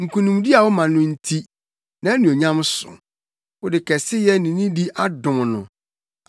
Nkonimdi a woma no nti, nʼanuonyam so; wode kɛseyɛ ne nidi adom no.